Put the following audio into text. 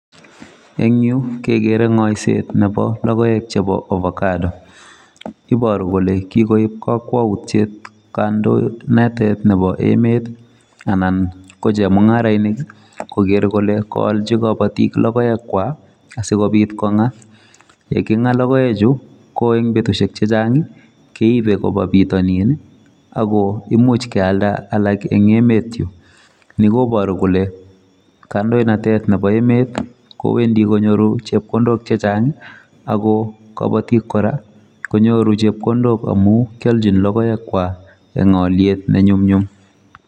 Ing'yu kegeere ng'aiseet nebo logoek chebo Avocado iboru kole kikoip kakwautyiet kandoinatet nebo emet anan ko chemung'arainik kogeer kole kaalchi kabatik logoek kwai asikobiit kong'aa, yeking'aa logoekchu ko ing' betusiek chechang' keibe koba bitanin ako imuch kealda alak ing' emet yu. ni kobooru kole kandoinatet nebo emet kowendi konyoru chepkondok chechang' ako kabatik kora konyoru chepkondok amu kialchini logoekwai ing' aalyet nenyumnyum